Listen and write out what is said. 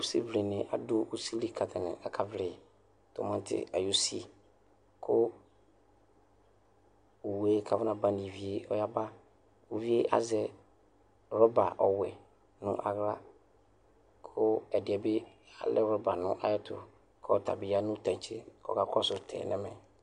ʋsivlini adʋ ʋsili ka tani akavli tɔmati ayʋ ʋsii kʋ owʋe kaƒɔnaba nʋ ivie ɔyaba ʋvie azɛ rɔba ɔwɛ nʋ aɣla kʋ ɛdiɛ bi alɛ rɔba nʋ ayɛtʋ kʋɔtabi ya nʋ tantse kɔka kɔsʋ tɛ nɛ mɛ